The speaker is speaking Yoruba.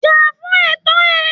Jà fún ẹ̀tọ́ rẹ